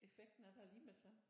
Effekten er der lige med det samme